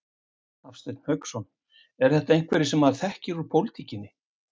Hafsteinn Hauksson: Eru þetta einhverjir sem maður þekkir úr pólitíkinni?